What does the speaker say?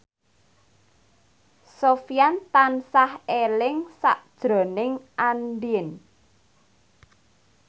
Sofyan tansah eling sakjroning Andien